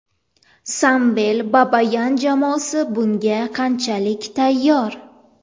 Samvel Babayan jamoasi bunga qanchalik tayyor?